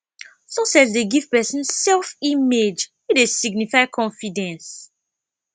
success dey give person self image wey dey signify confidence